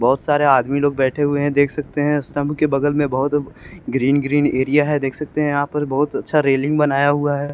बहोत सारे आदमी लोग बैठे हुए है देख सकते है स्टंप के बगल मे बहोत ग्रीन ग्रीन एरिया है देख सकते यहाँ पर बहुत अच्छा रेलिंग बनाया हुआ है।